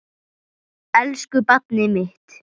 Elsku barnið mitt.